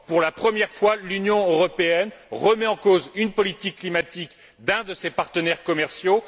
Pour la première fois, l'Union européenne remet en cause une politique climatique d'un de ses partenaires commerciaux.